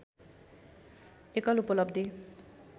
एकल उपलब्धि